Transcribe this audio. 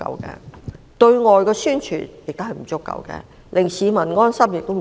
此外，對外宣傳不足夠，令市民安心方面也不足。